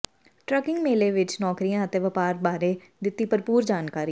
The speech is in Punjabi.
ਟਰੱਕਿੰਗ ਮੇਲੇ ਵਿੱਚ ਨੌਕਰੀਆਂ ਅਤੇ ਵਪਾਰ ਬਾਰੇ ਦਿੱਤੀ ਭਰਪੂਰ ਜਾਣਕਾਰੀ